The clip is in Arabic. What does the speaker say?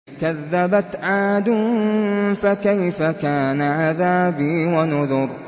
كَذَّبَتْ عَادٌ فَكَيْفَ كَانَ عَذَابِي وَنُذُرِ